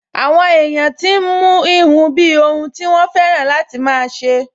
Àwọn èèyàn tí n mú híhun bíi ohun tí wọ́n fẹ́ràn láti máa ṣe